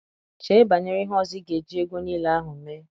Chee banyere ihe ọzọ ị ga eji ego nile ahụ mee.